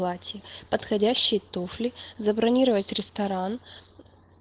подходящий туфли забронировать ресторан